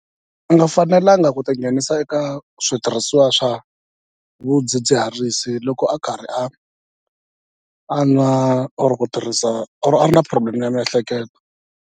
A nga fanelanga ku tinghenisa eka switirhisiwa swa vudzidziharisi loko a karhi a a nwa or ku tirhisa or a ri na problem ya miehleketo.